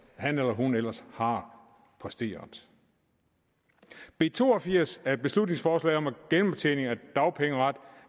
han eller hun ellers har præsteret b to og firs er et beslutningsforslag om genoptjening af dagpengeret